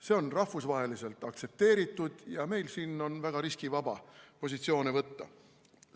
See on rahvusvaheliselt aktsepteeritud ja meil on siin väga riskivaba positsioone võtta.